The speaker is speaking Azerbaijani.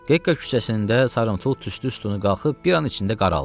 Gekka küçəsində sarımtıl tüstü sütunu qalxıb bir an içində qaraldı.